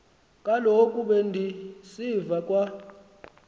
kaloku bendisiva kwa